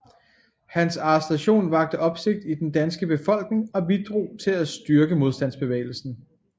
Hans arrestation vakte opsigt i den danske befolkning og bidrog til at styrke modstandsbevægelsen